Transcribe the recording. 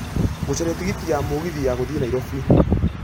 gũcaria tigiti ya mũgithi ya gũthiĩ Nairobi